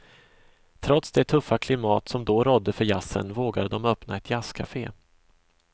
Trots det tuffa klimat som då rådde för jazzen, vågade de öppna ett jazzkafe.